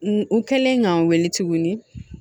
N kɛlen ka n weele tuguni